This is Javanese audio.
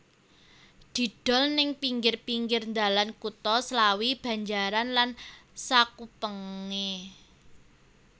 Didol neng pinggir pinggir dalan kutha Slawi Banjaran lan sakupengé